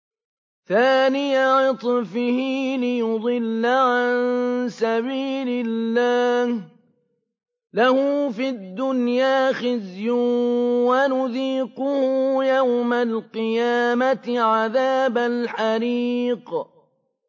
ثَانِيَ عِطْفِهِ لِيُضِلَّ عَن سَبِيلِ اللَّهِ ۖ لَهُ فِي الدُّنْيَا خِزْيٌ ۖ وَنُذِيقُهُ يَوْمَ الْقِيَامَةِ عَذَابَ الْحَرِيقِ